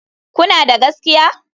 Kuna da gaskiya?